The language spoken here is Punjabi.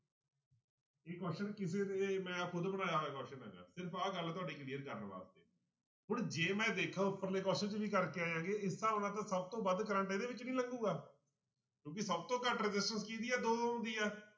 ਇਹ question ਕਿਸੇ ਨੇ ਮੈਂ ਖੁੱਦ ਬਣਾਇਆ ਹੋਇਆ question ਹੈਗਾ ਸਿਰਫ਼ ਆਹ ਗੱਲ ਤੁਹਾਡੀ clear ਕਰਨ ਵਾਸਤੇ, ਹੁਣ ਜੇ ਮੈਂ ਦੇਖਾਂ ਉੱਪਰਲੇ question 'ਚ ਵੀ ਕਰਕੇ ਆਇਆਂ ਗੇ ਇਸ ਹਿਸਾਬ ਨਾਲ ਤਾਂ ਸਭ ਤੋਂ ਵੱਧ ਕਰੰਟ ਇਹਦੇ ਵਿੱਚ ਨੀ ਲੱਗੇਗਾ ਕਿਉਂਕਿ ਸਭ ਤੋਂ ਘੱਟ resistance ਕਿਹਦੀ ਆ ਦੋ ਦੀ ਆ।